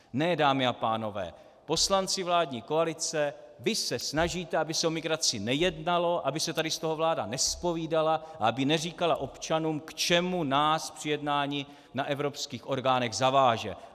Ne, dámy a pánové, poslanci vládní koalice, vy se snažíte, aby se o migraci nejednalo, aby se tady z toho vláda nezpovídala a aby neříkala občanům, k čemu nás při jednání na evropských orgánech zaváže.